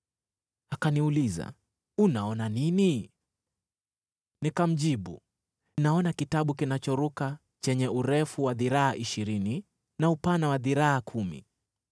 Akaniuliza, “Unaona nini?” Nikamjibu, “Naona kitabu kinachoruka chenye, urefu wa dhiraa ishirini na upana wa dhiraa kumi.”